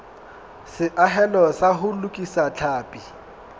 seahelo sa ho lokisa tlhapi